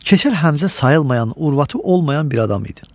Keçəl Həmzə sayılmayan, urvatı olmayan bir adam idi.